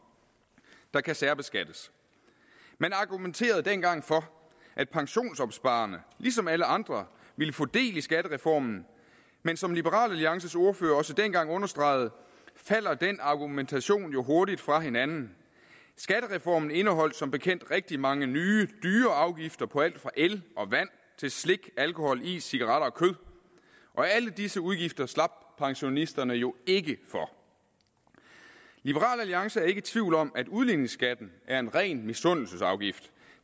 der kan særbeskattes man argumenterede dengang for at pensionsopsparerne ligesom alle andre ville få del i skattereformen men som liberal alliances ordfører også dengang understregede falder den argumentation jo hurtigt fra hinanden skattereformen indeholdt som bekendt rigtig mange nye dyre afgifter på alt fra el og vand til slik alkohol is cigaretter og kød og alle disse udgifter slap pensionisterne jo ikke for liberal alliance er ikke i tvivl om at udligningsskatten er en ren misundelsesafgift